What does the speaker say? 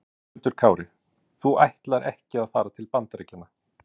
Höskuldur Kári: Þú ætlar ekki að fara til Bandaríkjanna?